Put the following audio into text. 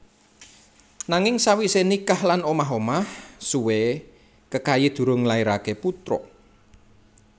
Nanging sawisé nikah lan omah omah suwé Kekayi durung nglairaké putra